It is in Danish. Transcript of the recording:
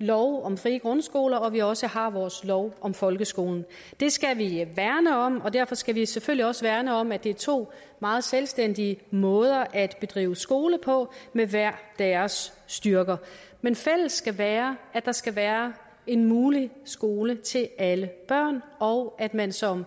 lov om frie grundskoler og vi også har vores lov om folkeskolen det skal vi værne om og derfor skal vi selvfølgelig også værne om at det er to meget selvstændige måder at drive skole på med hver deres styrke men fælles skal være at der skal være en mulig skole til alle børn og at man som